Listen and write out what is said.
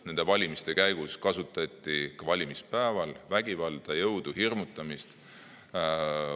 Nende valimiste ajal kasutati ka valimispäeval vägivalda, jõudu, hirmutamist.